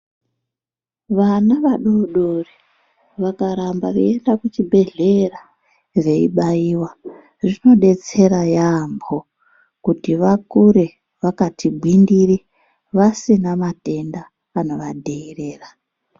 Vana vadodori vakaramba veienda kuchibhedhleya veibaiwa zvinodetsera yampho kuti vakure vakati gwindiri vasina matenda anovadherera.